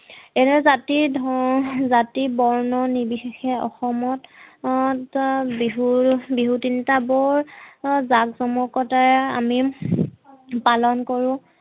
এনে জাতি ধৰ জাতি বৰ্ণ নিৰ্বশেষে অসমত হম বিহু বিহু তিনটা বৰ জাক-জমকতাৰে আমি পালন কৰো